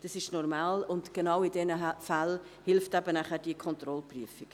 Dies ist normal, und genau in diesen Fällen hilft diese Kontrollprüfung.